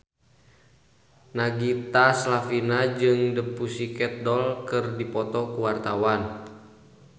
Nagita Slavina jeung The Pussycat Dolls keur dipoto ku wartawan